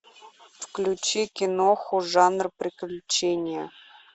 включи киноху жанр приключения